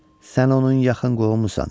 Sən onun yaxın qohumusan.